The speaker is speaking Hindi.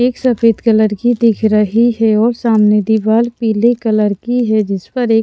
एक सफेद कलर की दिख रही है और सामने दीवार पीले कलर की है जिस पर एक --